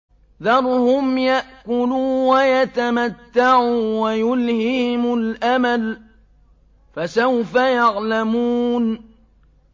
ذَرْهُمْ يَأْكُلُوا وَيَتَمَتَّعُوا وَيُلْهِهِمُ الْأَمَلُ ۖ فَسَوْفَ يَعْلَمُونَ